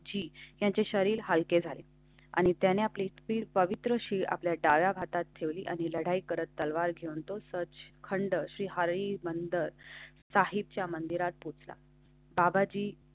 ची याचे शरीर हलकें झालें आणि त्याने आपली पवित्र अशी आपल्या डाव्या हातात ठेवली आणि लढाई करत तलवार घेऊन तो सर्च खंड श्री हरी बंदर साहिबच्या मंदिरात पोहचला. बाबाजी.